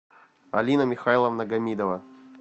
алина михайловна гамидова